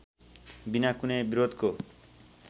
बिना कुनै विरोधको